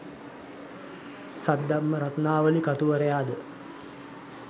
Saddharma Ratnavali කතුවරයාද